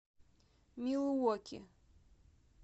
милуоки